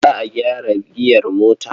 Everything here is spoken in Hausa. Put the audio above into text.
Za a gyara giyar motar.